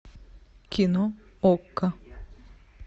кино окко